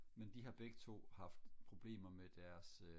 men de har begge to haft problemer med deres øh